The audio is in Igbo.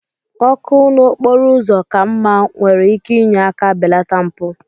Ọkụ n'okporo ụzọ ka mma nwere ike inye aka belata mpụ